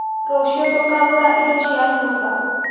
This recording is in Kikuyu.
Rũciũ tũkagũra indo cia nyũmba.